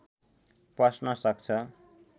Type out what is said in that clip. पस्न सक्छ